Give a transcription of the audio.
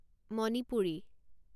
Manipuri